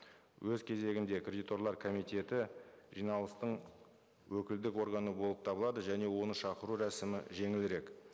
өз кезегінде кредиторлар комитеті жиналыстың өкілдік органы болып табылады және оны шақыру рәсімі жеңілірек